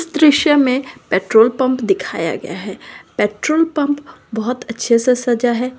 इस दृश्य मे पेट्रोल पम्प दिखाया गया हैं पेट्रोल पंप बहुत अच्छा से सजा है।